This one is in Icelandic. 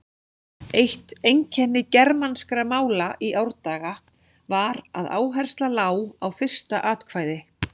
Eitt einkenni germanskra mála í árdaga var að áhersla lá á fyrsta atkvæði.